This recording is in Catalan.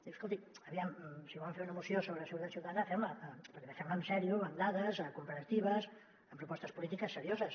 diu escolti aviam si volen fer una moció sobre seguretat ciutadana fem la però també fem la en sèrio amb dades comparatives amb propostes polítiques serioses